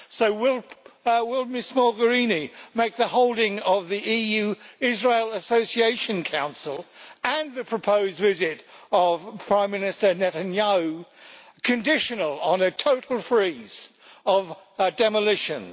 So will Ms Mogherini make the holding of the EU-Israel Association Council and the proposed visit of Prime Minister Netanyahu conditional on a total freeze of demolitions?